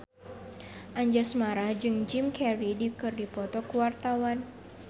Anjasmara jeung Jim Carey keur dipoto ku wartawan